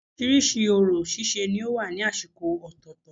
Orísirísi orò síse ni ó wà ní àsìkò ọ̀tọ̀ọ̀tọ̀